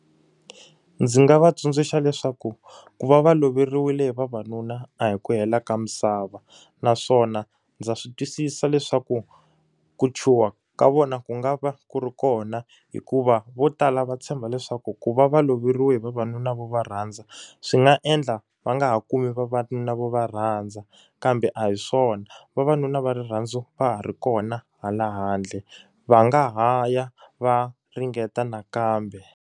Ndzi nga va tsundzuxa leswaku ku va va loveriwile hi vavanuna, a hi ku hela ka misava. Naswona ndza swi twisisa leswaku ku chuha ka vona ku nga va ku ri kona hikuva vo tala va tshemba leswaku ku va va loveriweke hi vavanuna vo va rhandza, swi nga endla va nga ha kumi vavanuna vo va rhandza. Kambe a hi swona, vavanuna va rirhandzu va ha ri kona hala handle. va nga ha ya va ringeta nakambe.